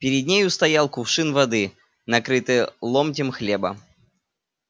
перед нею стоял кувшин воды накрытый ломтем хлеба